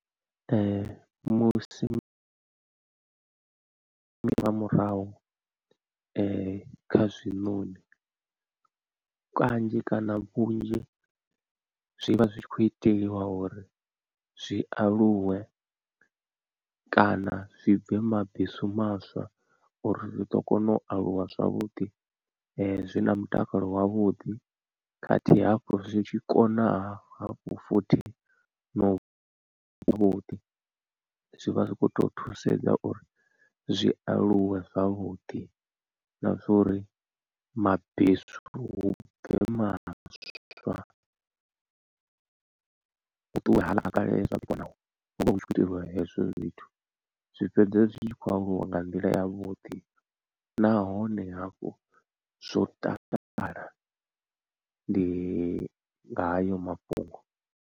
Musi nga murahu kha zwiṋoni kanzhi kana vhunzhi zwi vha zwi tshi khou iteliwa uri zwi aluwe kana zwi bve mabesu maswa uri zwi ḓo kona u aluwa zwavhuḓi zwi na mutakalo wavhuḓi, khathihi hafhu zwi tshi konaha hafhu futhi nau vhuḓi zwi vha zwi khou tou thusedza uri zwi aluwe zwavhuḓi. Na zwa uri mabesu hu bve maswa hu ṱuwe haaḽa a kale hu vha hu tshi khou itelwa hezwo zwithu zwi fhedza zwi tshi khou aluwa nga nḓila yavhuḓi nahone hafhu zwo takala ndi ngayo mafhungo.